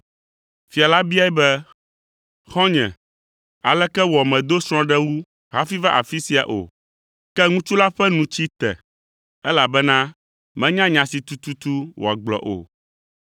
“Fia la biae be, ‘Xɔ̃nye, aleke wɔ mèdo srɔ̃ɖewu hafi va afi sia o?’ Ke ŋutsu la ƒe nu tsi te, elabena menya nya si tututu wòagblɔ o.